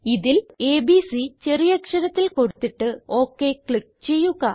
ഇതിൽ എബിസി ചെറിയ അക്ഷരത്തിൽ കൊടുത്തിട്ട് ഒക് ക്ലിക്ക് ചെയ്യുക